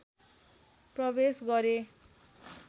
प्रवेश गरे